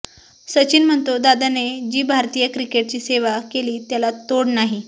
सचिन म्हणतो दादाने जी भारतीय क्रिकेटची सेवा केलीय त्याला तोड नाही